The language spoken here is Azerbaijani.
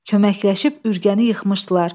Köməkləşib ürgəni yıxmışdılar.